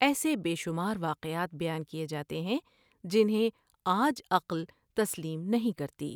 ایسے بے شمار واقعات بیان کیے جاتے ہیں جنھیں آج عقل تسلیم نہیں کرتی ۔